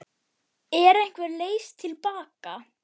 Er einhver leið til baka?